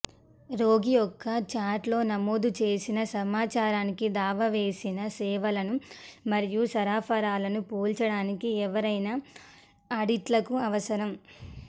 రోగి యొక్క చార్ట్లో నమోదు చేసిన సమాచారానికి దావా వేసిన సేవలను మరియు సరఫరాలను పోల్చడానికి ఎవరైనా ఆడిట్లకు అవసరం